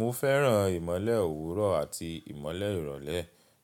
Mo fẹ́ràn ìmọ́lẹ̀ òwúrọ̀ àti ìmọ́lẹ̀ ìrọ̀lẹ́